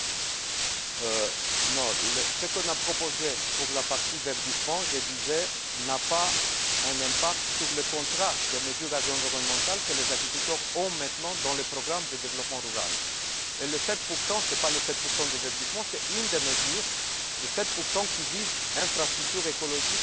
Ce qu'on a proposé pour la partie verdissement n'a pas un impact sur le contrat des mesures environnementales que les agriculteurs ont maintenant dans le programme de développement rural. Les 7 ce n'est pas les 7 de verdissement, c'est une des mesures des 7 qui visent l'infrastructure écologique au niveau de l'exploitation, c'est à dire